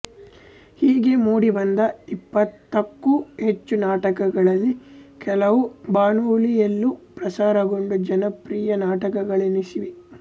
ಹೀಗೆ ಮೂಡಿ ಬಂದ ಇಪ್ಪತ್ತಕ್ಕೂ ಹೆಚ್ಚು ನಾಟಕಗಳಲ್ಲಿ ಕೆಲವು ಬಾನುಲಿಯಲ್ಲೂ ಪ್ರಸಾರಗೊಂಡು ಜನಪ್ರಿಯ ನಾಟಕಗಳೆನಿಸಿವೆ